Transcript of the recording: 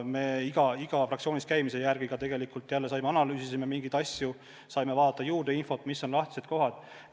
Me igas fraktsioonis käimise järel analüüsisime mingeid asju, saime juurde infot, mis on lahtised kohad.